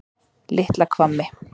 Litla Hvammi